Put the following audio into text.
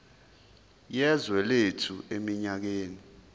yezwe lethu eminyakeni